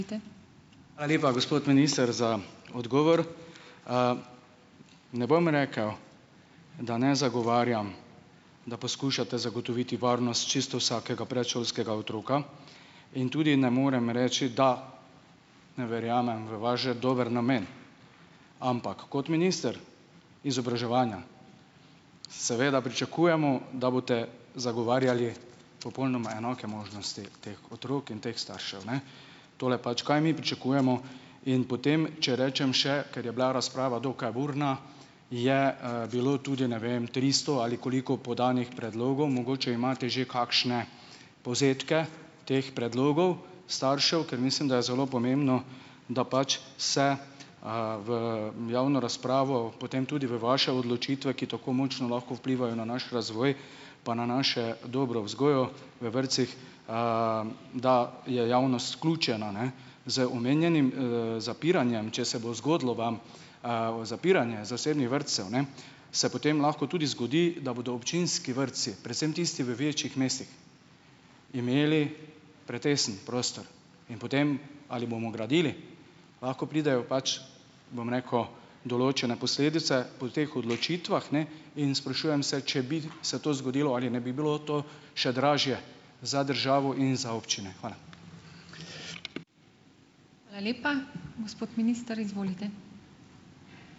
Hvala lepa, gospod minister, za odgovor. Ne bom rekel, da ne zagovarjam, da poskušate zagotoviti varnost čisto vsakega predšolskega otroka. In tudi ne morem reči, da ne verjamem v vaš, dober namen. Ampak kot minister izobraževanja, seveda, pričakujemo, da boste zagovarjali popolnoma enake možnosti teh otrok in teh staršev, ne, tole pač kaj mi pričakujemo. In potem če rečem še, ker je bila razprava dokaj burna, je, bilo tudi, ne vem, tristo ali koliko podanih predlogov, mogoče imate že kakšne povzetke teh predlogov staršev, ker mislim, da je zelo pomembno, da pač se, v javno razpravo, potem tudi v vaše odločitve, ki tako močno lahko vplivajo na naš razvoj pa na našo dobro vzgojo v vrtcih, da je javnost vključena, ne. Z omenjenim, zapiranjem, če se bo zgodilo vam, zapiranje zasebnih vrtcev, ne, se potem lahko tudi zgodi, da bodo občinski vrtci, predvsem tisti v večjih mestih imeli pretesen prostor. In potem, ali bomo gradili. Lahko pridejo pač, bom rekel, določene posledice po teh odločitvah, ne. In sprašujem se, če bi se to zgodilo, ali ne bi bilo to še dražje za državo in za občine. Hvala.